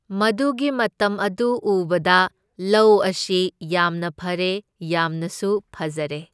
ꯃꯗꯨꯒꯤ ꯃꯇꯝ ꯑꯗꯨ ꯎꯕꯗ ꯂꯧ ꯑꯁꯤ ꯌꯥꯝꯅ ꯐꯔꯦ ꯌꯥꯝꯅꯁꯨ ꯐꯖꯔꯦ꯫